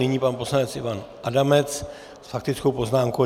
Nyní pan poslanec Ivan Adamec s faktickou poznámkou.